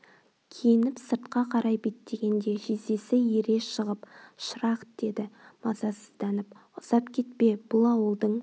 киініп сыртқа қарай беттегенде жездесі ере шығып шырақ деді мазасызданып ұзап кетпе бұл ауылдың